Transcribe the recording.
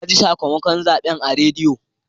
Na ji sakamakon zaɓen a rediyo.